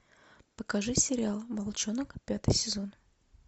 покажи сериал волчонок пятый сезон